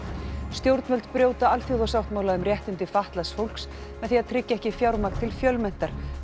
stjórnvöld brjóta alþjóðasáttmála um réttindi fatlaðs fólks með því að tryggja ekki fjármagn til Fjölmenntar